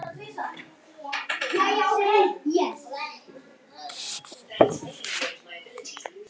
Stríðið hefst